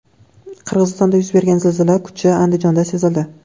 Qirg‘izistonda yuz bergan zilzila kuchi Andijonda sezildi.